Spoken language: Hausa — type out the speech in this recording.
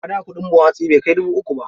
A da kuɗin buhun hatsi bai kai dubu uku ba.